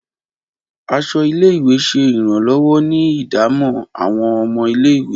Aṣọ ile-iwe ṣe iranlọwọ ni idamo awọn ọmọ ile-iwe